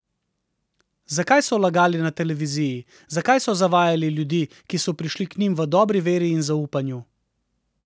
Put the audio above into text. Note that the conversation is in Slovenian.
Zakaj so lagali na televiziji, zakaj so zavajali ljudi, ki so prišli k njim v dobri veri in zaupanju?